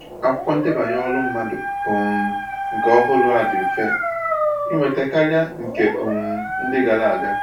Akwụkwọ ndebanye ọrụ mmadụ um nke ọhụrụ a dị mfe ịnweta karịa nke um ndị gara aga